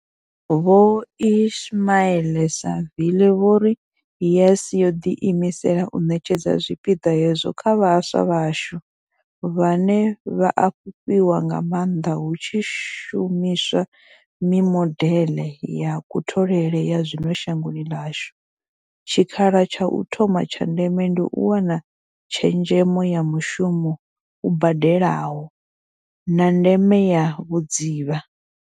Vho Ismail-Saville vho ri YES yo ḓi imisela u ṋetshedza tshipiḓa hetsho kha vhaswa vhashu, vhane vha a fhufhiwa nga maanḓa hu tshi shumi swa mimodeḽe ya kutholele ya zwino shangoni ḽashu, tshikha la tsha u thoma tsha ndeme ndi u wana tshezhemo ya mushumo u badelaho, na ndeme ya vhudzivha.